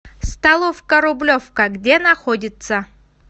столовка рублевка где находится